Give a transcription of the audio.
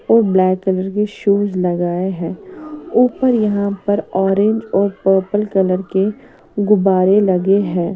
और black colour के shoes लगाए हैं ऊपर यहां पर ऑरेंज और पर्पल कलर के गुब्बारे लगे हैं।